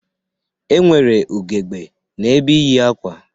E nwere ugegbe n'ebe iyi akwa.